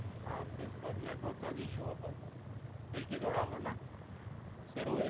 हा तेच तर नेटवर्कचाच इशू होता सर खिडकी जवळ आलो ना सर्व